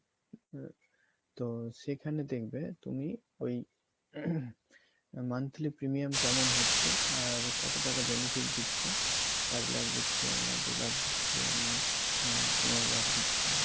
তো সেখানে দেখবে তুমি ওই monthly premium কেমন হচ্ছে আর কত টাকা benefit দিচ্ছে পাঁচ লাখ দিচ্ছে নাকি দু লাখ দিচ্ছে না আহ পনেরো লাখ দিচ্ছে।